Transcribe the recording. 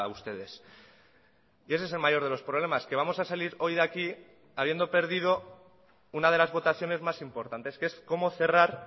ustedes y ese es el mayor de los problemas que vamos a salir hoy de aquí habiendo perdido una de las votaciones más importantes que es cómo cerrar